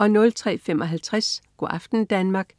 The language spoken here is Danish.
03.55 Go' aften Danmark*